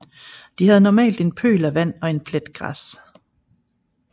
De havde normalt en pøl af vand og en plet græs